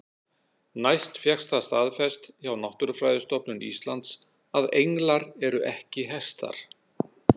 Næst fékkst það staðfest hjá Náttúrufræðistofnun Íslands að englar eru ekki hestar.